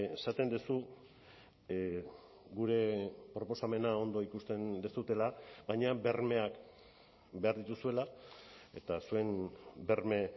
esaten duzu gure proposamena ondo ikusten duzuela baina bermeak behar dituzuela eta zuen berme